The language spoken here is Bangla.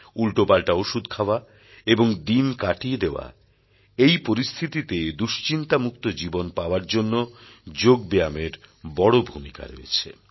উল্টোপাল্টা ওষুধ খাওয়া এবং দিন কাটিয়ে দেওয়া এই পরিস্থিতিতে দুশ্চিন্তামুক্ত জীবন পাওয়ার জন্য যোগব্যায়ামের বড় ভূমিকা রয়েছে